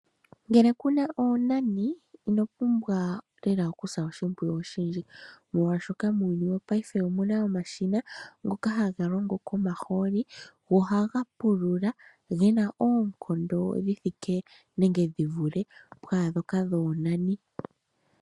Ngele ku na oonani, ino pumbwa lela oku sa oshimpwiyu oshindji. Molwaashoka muuyuni wopayife omu na omashina ngoka haga longo komahooli, go ohaga pula, ge na oonkondo dhi thike nenge dhi vule pwaandhoka dhoonani.